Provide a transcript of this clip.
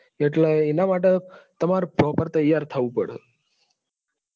એટલે એના માટે તમારે proper થવું પડે.